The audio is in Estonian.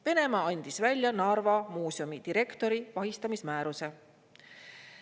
Venemaa andis välja Narva muuseumi direktori vahistamismääruse.